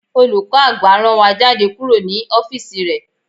Olùkọ́ àgbà rán wa jáde kúrò ní ọ́físì rẹ̀